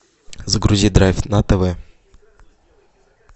загрузи драйв на тв